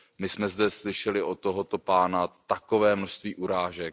My jsme zde slyšeli od tohoto pána takové množství urážek.